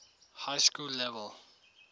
high school level